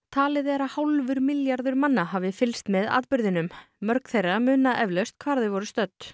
talið er að hálfur milljarður hafi fylgst með atburðinum mörg þeirra muna eflaust hvar þau voru stödd